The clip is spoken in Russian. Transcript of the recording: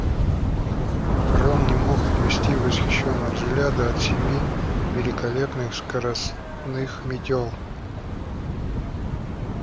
рон не мог отвести восхищённого взгляда от семи великолепных скоростных метёл